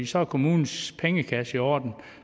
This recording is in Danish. så er kommunens pengekasse i orden